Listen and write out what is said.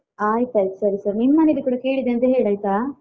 ಆಯ್ತು ಆಯ್ತು ಸರಿ ಸರಿ ನಿಮ್ ಮನೇಲಿ ಕೂಡ ಕೇಳಿದೆ ಅಂತ ಹೇಳಾಯ್ತಾ?